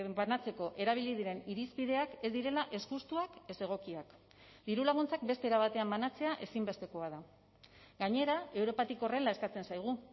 banatzeko erabili diren irizpideak ez direla ez justuak ez egokiak diru laguntzak beste era batean banatzea ezinbestekoa da gainera europatik horrela eskatzen zaigu